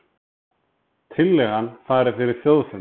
Tillagan fari fyrir þjóðfund